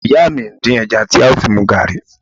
Ìyá mi ń dín ẹja tí a ó fi mu gààrí